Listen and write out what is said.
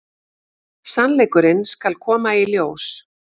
Sannleikurinn skal koma í ljós.